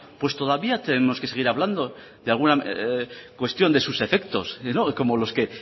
pues todavía tenemos que seguir hablando de alguna cuestión de sus efectos y no como los que